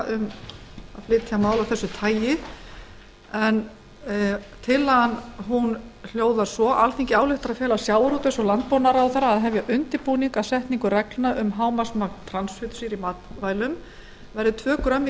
um málið tillagan hljóðar svo alþingi ályktar að fela sjávarútvegs og landbúnaðarráðherra að hefja undirbúning að setningu reglna um að hámarksmagn transfitusýra í matvælum verði tvö grömm